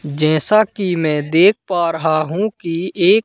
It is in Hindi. जैसा कि मैं देख पा रहा हूं कि एक--